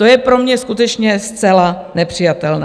To je pro mě skutečně zcela nepřijatelné.